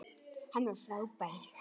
Hann var frábær.